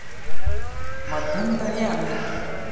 मध्यंतरी आम्ही.